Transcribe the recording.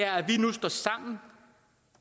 at vi nu står sammen